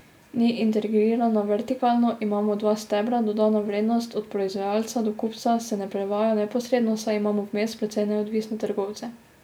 Ni integrirana vertikalno, imamo dva stebra, dodana vrednost od proizvajalca do kupca se ne prevaja neposredno, saj imamo vmes precej neodvisne trgovce.